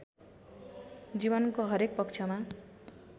जीवनको हरेक पक्षमा